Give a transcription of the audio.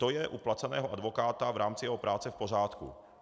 To je u placeného advokáta v rámci jeho práce v pořádku.